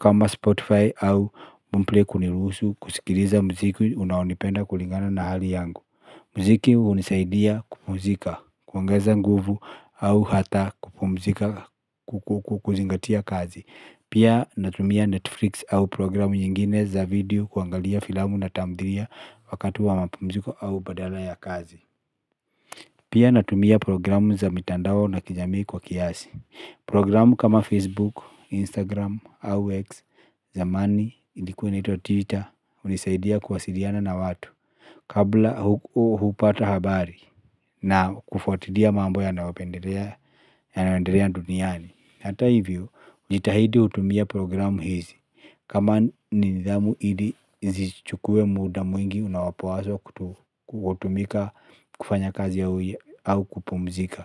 kama Spotify au Boomplay kuniruhusu kusikiliza muziki unaonipenda kulingana na hali yangu. Muziki hunisaidia kupumzika, kuongeza nguvu au hata kupumzika kuzingatia kazi. Pia natumia Netflix au programu nyingine za video kuangalia filamu na tamthilia wakati wa mapumzuko au badala ya kazi. Pia natumia programu za mitandao na kijamii kwa kiasi. Programu kama Facebook, Instagram au X, zamani, ilikuwa inaitwa Twitter, hunisaidia kuwasiliana na watu. Kabla hupata habari na kufuatilia mambo yanaypendelea duniani. Hata hivyo, jitahidi utumie programu hizi. Kama nidhamu ili zisichukue muda mwingi, unaopaswa kutumika kufanya kazi au kupumzika.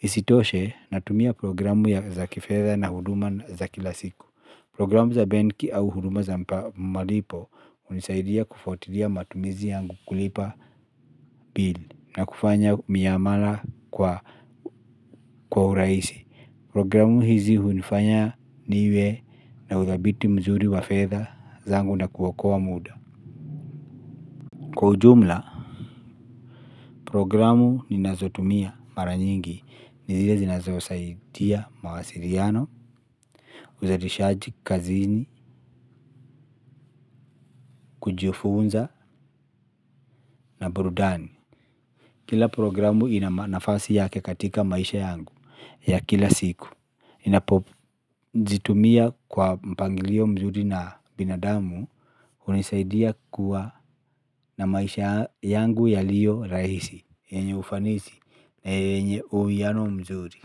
Isitoshe, natumia programu za kifedha na huduma za kila siku. Programu za benki au huduma za malipo, hunisaidia kufatilia matumizi yangu kulipa bili na kufanya miamala kwa urahisi. Programu hizi hunifanya niwe na uthibiti mzuri wa fedha zangu na kuokoa muda. Kwa ujumla, programu ninazotumia mara nyingi, ni zile zinazosaidia mawasiliano, uzalishaji, kazini, kujifunza na burudani. Kila programu ina nafasi yake katika maisha yangu ya kila siku. Ninapojitumia kwa mpangilio mzuri na binadamu hunisaidia kuwa na maisha yangu yaliyorahisi yenye ufanisi yenye uwiano mzuri.